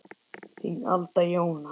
Þín Alda Jóna.